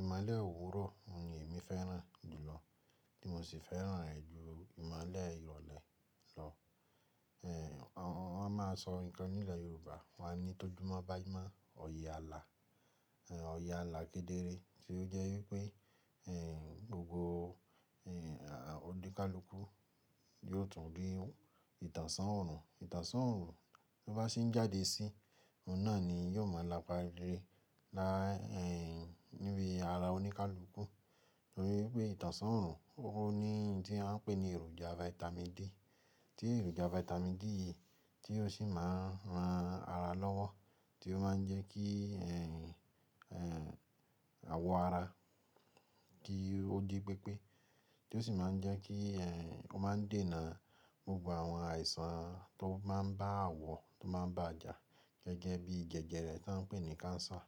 Ìmolẹ̀ òwurọ̀ ni èmi fẹ́ràn jùlọ tí mo sì fẹ́ràn rẹ̀ ju ìmolẹ̀ ìrọ̀lẹ́ lọ. Wọ́n máa sọ ǹkan nílẹ̀ Yorùbá, wọ́n a ní tóju mọ́ bá jẹ́ mọ́ òye ààlà, òye ààlà kedere tí ó jẹ́ wípé gbogbo oníkálukú yóò tún rí ìtànṣán òrùn. Ìtànṣán òrùn bí ó bá ṣe ń jáde sí, òun náà ni yóò máa lapa ire lá níbi ara oníkálukú. Nítorí pé ìtànṣán òrùn ó ní ohun tí a ń pè ní èròjà Vitamin D, tí èròjà Vitamin D yìí tí ó sì máa ń ran ara lọ́wọ́, tí ó máa ń jẹ́ kí àwọ̀ ara kí ó di pépé. Tí ó sì máa ń jẹ́ kí ó máa ń dènà gbogbo àwọn àìsàn tó máa ń bá àwọ̀, tó máa ń bá ajà gẹ́gẹ́ bí jẹjẹrẹ tí wọ́n ń pè ní cancer.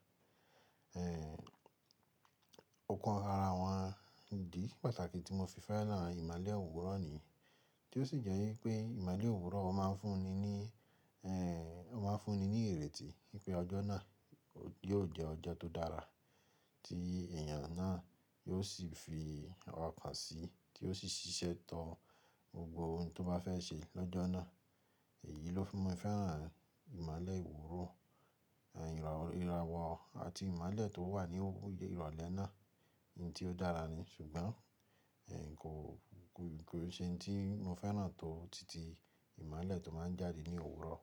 Òkan ara wọn, ìdí pàtàkì tí mo fi fẹ́ràn ìmolẹ̀ òwurọ̀ ni, tí ó sì jẹ́ wípé ìmolẹ̀ òwurọ̀ máa ń fún ni ní ó máa ń fún ni ní ìrètí wípé ọjọ́ náà yóò jẹ́ ọjọ́ tó dára tí èèyàn náà yóò sì fi ọkàn sí, tí ó sì ṣiṣẹ́ tán gbogbo ohun tó bá fẹ́ ṣe lọ́jọ́ náà. Èyí ló fi mi fẹ́ràn ìmolẹ̀ òwurọ̀ ìràwọ̀ àti ìmolẹ̀ tó wà ní ìrọ̀lẹ́ náà, ohun tí ó dára ni ṣùgbọ́n kò-- kò n se ohun tí mo fẹ́ràn tó tìtì ìmálẹ̀ tó máa ń jáde ní òwurọ̀.